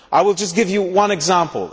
I will just give you one example.